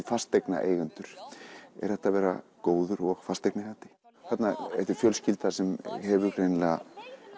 fasteignaeigendur er hægt að vera góður og fasteignaeigandi þetta er fjölskylda sem hefur greinilega